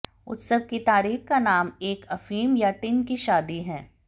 उत्सव की तारीख का नाम एक अफीम या टिन की शादी है